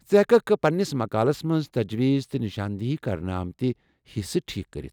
ژٕ ہیككھ پننِس مقالس منز تجویز تہٕ نِشاندیہی كرنہٕ آمٕتہِ حِصہٕ ٹھیكھ كرِتھ ۔